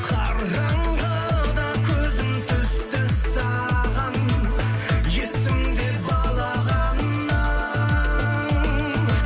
қараңғыда көзім түсті саған есімде балағаның